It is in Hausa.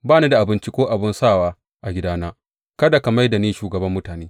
Ba ni da abinci ko abin sawa a gidana; kada ka mai da ni shugaban mutane.